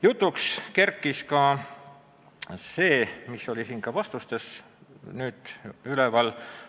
Jutuks kerkis ka küsimus, mis siingi saalis täna kõlas.